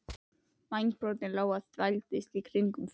Vængbrotin lóa þvældist í kringum þá.